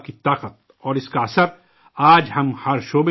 اور اس کا اثر آج ہم ہر علاقے میں دیکھ رہے ہیں